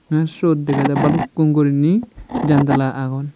tey siyot dega jai balukkun gurinei jandala agon.